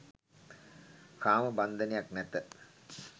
කාමබන්ධනයක් නැත